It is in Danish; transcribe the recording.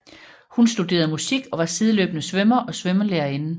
Hun studerede musik og var sideløbende svømmer og svømmelærerinde